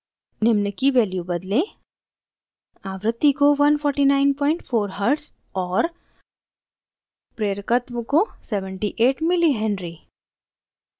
निम्न की value बदलें: